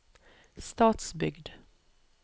Stadsbygd